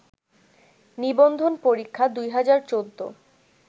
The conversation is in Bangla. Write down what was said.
নিবন্ধন পরীক্ষা ২০১৪